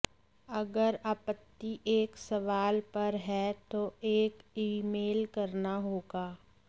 अगर आपत्ति एक सवाल पर है तो एक ईमेल करना होगा